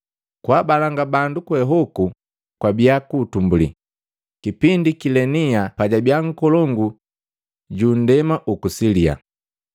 Kwaabalanga bandu kwe hoku kwabia kuutumbuli, kipindi Kilenia pajabia nkolongu juku nndema uku Silia.